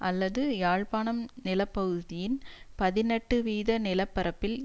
அல்லது யாழ்பாணம் நில பகுதியின் பதினெட்டு வீத நிலப்பரப்பில்